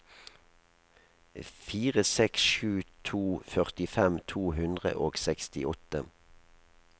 fire seks sju to førtifem to hundre og sekstiåtte